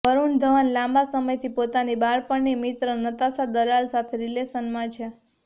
વરુણ ધવન લાંબા સમયથી પોતાની બાળપણની મિત્ર નતાશા દલાલ સાથે રિલેશનમાં છે